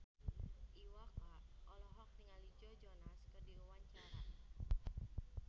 Iwa K olohok ningali Joe Jonas keur diwawancara